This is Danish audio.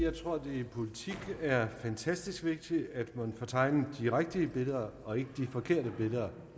politik er fantastisk vigtigt at man får tegnet de rigtige billeder og ikke de forkerte billeder